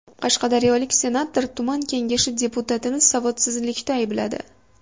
Qashqadaryolik senator tuman kengashi deputatini savodsizlikda aybladi.